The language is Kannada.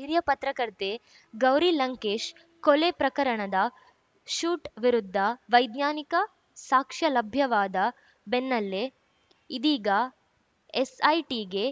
ಹಿರಿಯ ಪತ್ರಕರ್ತೆ ಗೌರಿ ಲಂಕೇಶ್‌ ಕೊಲೆ ಪ್ರಕರಣದ ಶೂಟ್ ವಿರುದ್ಧ ವೈಜ್ಞಾನಿಕ ಸಾಕ್ಷ್ಯ ಲಭ್ಯವಾದ ಬೆನ್ನಲ್ಲೇ ಇದೀಗ ಎಸ್‌ಐಟಿಗೆ